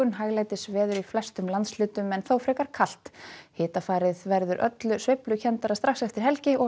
hæglætisveður í flestum landshlutum en þó frekar kalt hitafarið verður öllu sveiflukenndara strax eftir helgi og